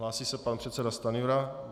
Hlásí se pan předseda Stanjura.